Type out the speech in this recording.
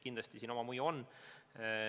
Kindlasti siin oma mõju on.